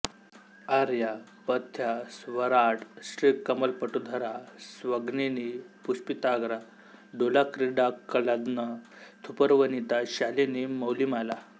आर्या पथ्या स्वराट् श्रीकमलपटुधरा स्रग्विणी पुष्पिताग्रा दोलाक्रीडाकलानन्दथुपरवनिता शालिनी मौलिमाला